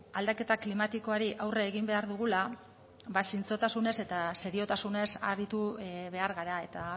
aldaketa klimatikoari aurre egin behar dugula zintzotasunez eta seriotasunez aritu behar gara eta